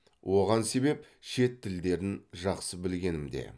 оған себеп шет тілдерін жақсы білгенімде